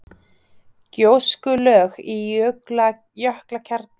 Gjóskulög í jökulkjarna frá Bárðarbungu.